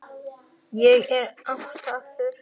Ég er háttaður.